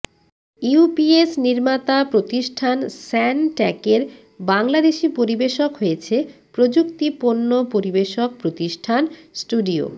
UPS নির্মাতা প্রতিষ্ঠান স্যানট্যাকের বাংলাদেশি পরিবেশক হয়েছে প্রযুক্তি পণ্য পরিবেশক প্রতিষ্ঠান স্টুডিও